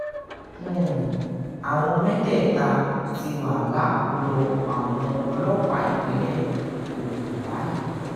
um àwọn mẹ́tẹ̀ẹ̀ta ti wà lákọlò àwọn ọlọ́pàá ìpínlẹ̀ um ogun báyìí